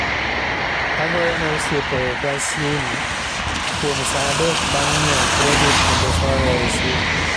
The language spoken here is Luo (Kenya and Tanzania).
Agoyo ne osiepe ga sim kuom saa adek bang' nyiew kredit kendo soyo e sim